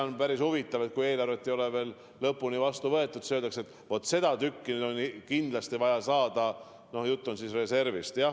On päris huvitav, et kui eelarvet ei ole veel lõplikult vastu võetud, öeldakse ikkagi, et vaat seda tükki on kindlasti vaja saada – jutt on siis reservist.